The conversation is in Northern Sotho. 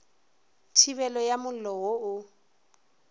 thibelo ya mollo wo o